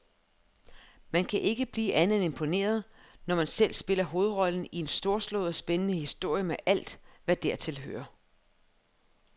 Man kan ikke blive andet end imponeret, når man selv spiller hovedrollen i en storslået og spændende historie med alt, hvad dertil hører.